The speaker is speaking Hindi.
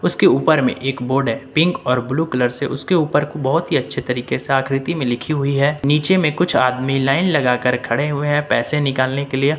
उसके ऊपर में एक बोर्ड है पिक और ब्लू कलर से उसके ऊपर बहुत ही अच्छे तरीके से आकृति में लिखी हुई है नीचे में कुछ आदमी लाइन लगाकर खड़े हुए हैं पैसे निकालने के लिए।